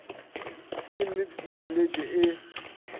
ke nnete di feletše e